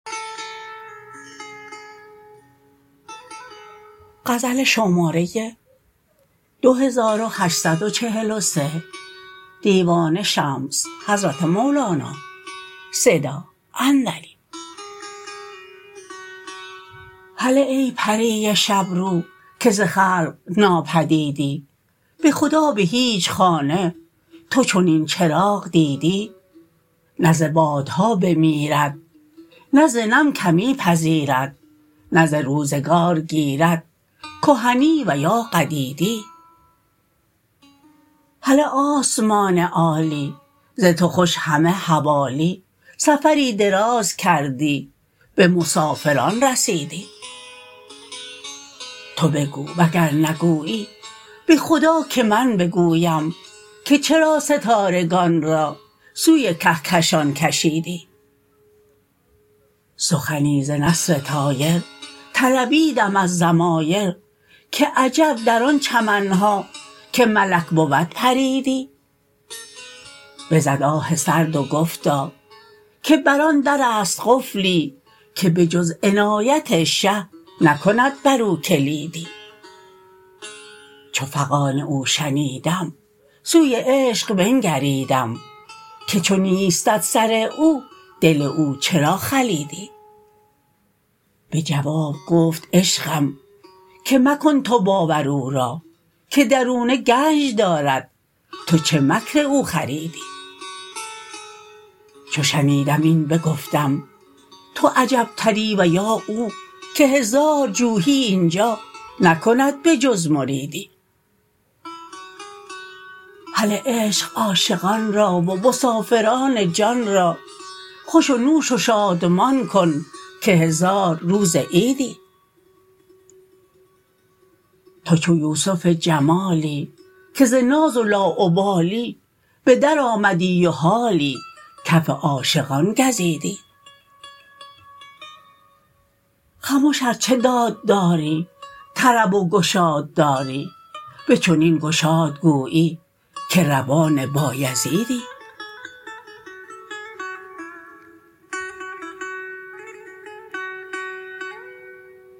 هله ای پری شب رو که ز خلق ناپدیدی به خدا به هیچ خانه تو چنین چراغ دیدی نه ز بادها بمیرد نه ز نم کمی پذیرد نه ز روزگار گیرد کهنی و یا قدیدی هله آسمان عالی ز تو خوش همه حوالی سفری دراز کردی به مسافران رسیدی تو بگو وگر نگویی به خدا که من بگویم که چرا ستارگان را سوی کهکشان کشیدی سخنی ز نسر طایر طلبیدم از ضمایر که عجب در آن چمن ها که ملک بود پریدی بزد آه سرد و گفتا که بر آن در است قفلی که به جز عنایت شه نکند برو کلیدی چو فغان او شنیدم سوی عشق بنگریدم که چو نیستت سر او دل او چرا خلیدی به جواب گفت عشقم که مکن تو باور او را که درونه گنج دارد تو چه مکر او خریدی چو شنیدم این بگفتم تو عجبتری و یا او که هزار جوحی این جا نکند به جز مریدی هله عشق عاشقان را و مسافران جان را خوش و نوش و شادمان کن که هزار روز عیدی تو چو یوسف جمالی که ز ناز لاابالی به درآمدی و حالی کف عاشقان گزیدی خمش ار چه داد داری طرب و گشاد داری به چنین گشاد گویی که روان بایزیدی